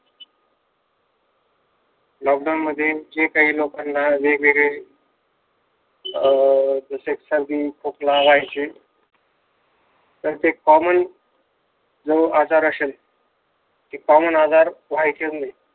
Lock down मध्ये लोकांना जे काही वेगवेगळे जसे सर्दी-खोकला व्हायचे तर ते कॉमन जो आजार असेल ते कॉमन आजार व्हायचेच नाही.